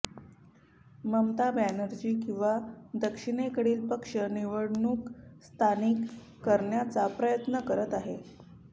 ममता बॅनर्जी किंवा दक्षिणेकडील पक्ष निवडणूक स्थानिक करण्याचा प्रयत्न करत आहेत